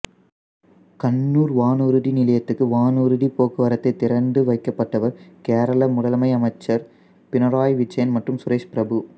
கண்ணூர் வானூர்தி நிலையத்துக்கு வானூர்திப் போக்குவரத்தை திறந்து வைக்கப்பட்டவர் கேரள முதலமை அமைச்சர் பிணறாயி விஜயன் மற்றும் சுரேஷ் பிரபு